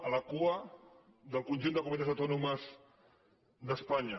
a la cua del conjunt de comunitats autònomes d’espanya